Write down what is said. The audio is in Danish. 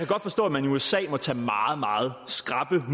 godt forstå at man i usa må tage meget meget skrappe